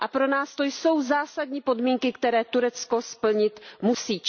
A pro nás to jsou zásadní podmínky, které Turecko splnit musí.